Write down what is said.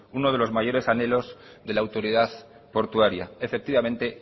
uno de los mayores anhelos de la autoridad portuaria efectivamente